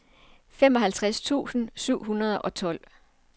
femoghalvtreds tusind syv hundrede og tolv